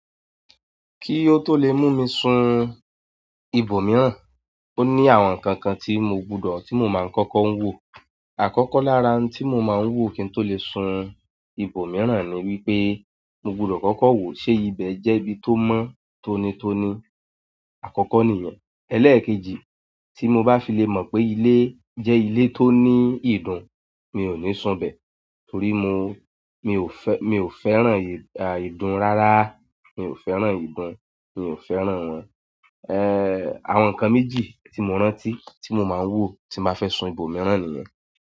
Kí ó tó lè mú mi sun ibòmíràn, ó ní àwọn nǹkan kan tí mo gbúdọ̀ tí mo máa ń kọ́kọ́ ń wò. Àkọ́kọ́ lára tí mo máa ń wò kí n tó lè sun ibòmíràn ni wípé mo gbúdọ̀ kọ́kọ́ wò ṣe ibẹ̀ jẹ́ ibi tó mọ́, tó ni tó ní. Àkọ́kọ́ nìyẹn. Ẹlẹ́ẹ̀kejì, tí mo bá fi lè mọ̀ pé ilé jẹ́ ilé tó ní ìdun, mi ò ní sun bẹ̀. Torí mo, mi ò fe, mi ò fẹ́ràn ìdun rárá. Mi ò fẹ́ràn ìdun, mi ò fẹ́ràn wọn. Ehn, àwọn nǹkan méjì tí mo rántí tí mo máa ń wò tí maa fẹ́ sun ibòmíràn nìyẹn.